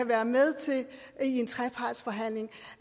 være med til i en trepartsforhandling